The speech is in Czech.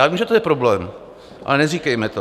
Já vím, že to je problém, ale neříkejme to.